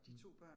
Mh